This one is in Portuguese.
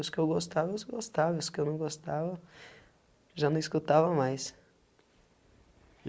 os que eu gostava, os que eu gostava, os que eu não gostava, já não escutava mais.